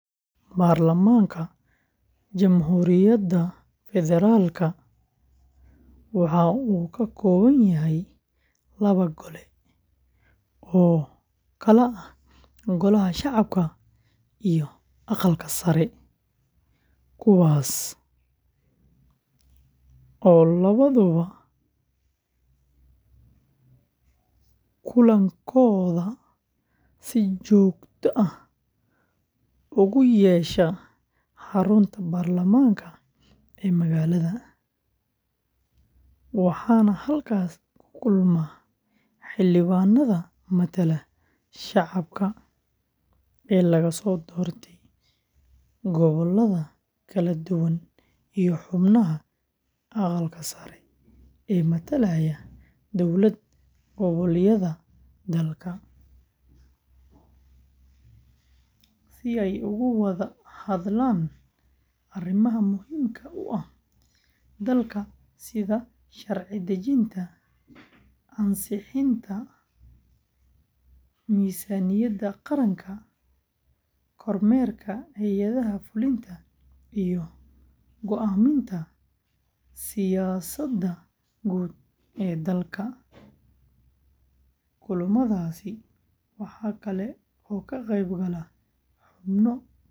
Baarlamaanka Jamhuuriyadda Federaalka waxa uu ka kooban yahay laba gole oo kala ah Golaha Shacabka iyo Aqalka Sare, kuwaas oo labaduba kulankooda si joogto ah ugu yeesha xarunta baarlamaanka ee magaalada, waxaana halkaas ku kulma xildhibaanada matala shacabka ee laga soo doortay gobollada kala duwan iyo xubnaha Aqalka Sare ee matalaya dowlad-goboleedyada dalka, si ay uga wada hadlaan arrimaha muhiimka u ah dalka sida sharci dejinta, ansixinta miisaaniyadda qaranka, kormeerka hay’adaha fulinta, iyo go’aaminta siyaasadaha guud ee dalka. Kulamadaasi waxa kale oo ka qayb gala xubno ka tirsan.